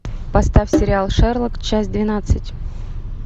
поставь сериал шерлок часть двенадцать